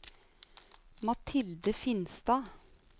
Mathilde Finstad